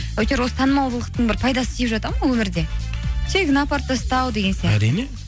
әйтеуір осы танымалдылықтың бір пайдасы тиіп жатады ма өмірде тегін апарып тастау деген әрине